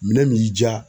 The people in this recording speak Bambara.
Minɛn min y'i diya